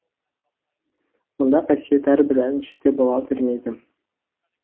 мұндай қасиет әрбір әншіде бола бермейді